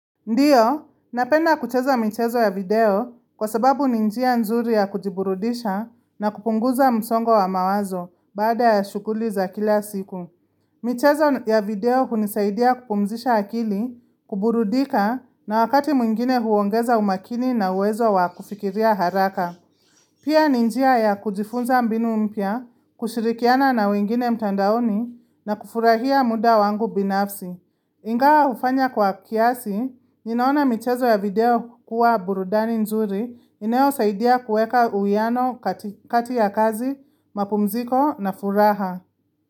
Ndiyo, napenda kucheza michezo ya video kwa sababu ni njia nzuri ya kujiburudisha na kupunguza msongo wa mawazo bada ya shuguli za kila siku. Michezo ya video kunisaidia kupumzisha akili, kuburudika na wakati mwingine huongeza umakini na uwezo wa kufikiria haraka. Pia ninjia ya kujifunza mbinu mpya, kushirikiana na wengine mtandaoni na kufurahia muda wangu binafsi. Ingawa ufanya kwa kiasi, ninaona mchezo ya video kukua burudani nzuri, inayo saidia kueka uiano kati ya kazi, mapumziko na furaha.